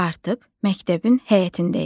Artıq məktəbin həyətindəyik.